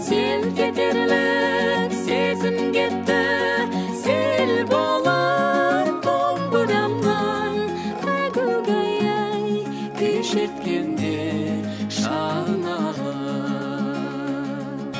селт етерлік сезім кетті сел болып домбырамнан әгугай ай күй шерткенде шанағы